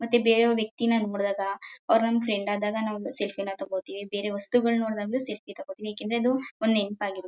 ಮತ್ತೆ ಬೇರೆ ವ್ಯಕ್ತಿ ನ ನೋಡ್ದಾಗ ಅವರ್ ನಮ್ ಫ್ರೆಂಡ್ ಆದಾಗ ನಾವು ಸೆಲ್ಫಿ ನ ತೊಗೋತೀವಿ ಬೇರೆ ವಸ್ತುಗಳ್ ನೋಡ್ದಾಗ್ಲೂ ಸೆಲ್ಫಿ ನ ತೊಗೊಳ್ತಿವಿ ಏಕ್ ಅಂದ್ರೆ ಅದು ಒಂದ್ ನೆಂಪಾಗಿರತ್ತೆ